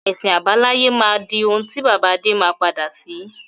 Ẹ̀sìn àbáláyé máa di òun ti bàbá Adé má padà sí.